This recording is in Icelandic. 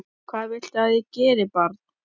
Hvað viltu að ég geri, barn?